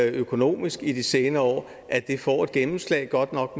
økonomisk i de senere år får et gennemslag godt nok